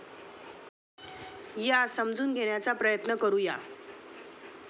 या समजून घेण्याचा प्रयत्न करू या.